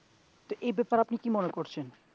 এই ব্যাপারে আপনি কি মনে করছেন?